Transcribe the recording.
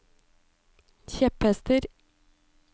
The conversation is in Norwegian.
kjepphester